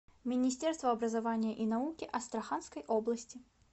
министерство образования и науки астраханской области